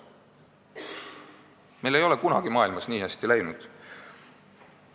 Meil ei ole kunagi maailmas nii hästi läinud.